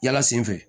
Yala sen fɛ